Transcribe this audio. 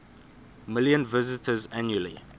million visitors annually